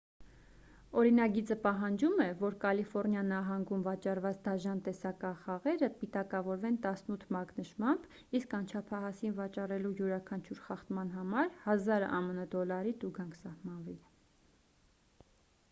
օրինագիծը պահանջում է որ կալիֆոռնիա նահանգում վաճառված դաժան տեսախաղերը պիտակավորվեն 18 մակնշմամբ իսկ անչափահասին վաճառելու յուրաքանչյուր խախտման համար 1,000 ամն դոլարի տուգանք սահմանվի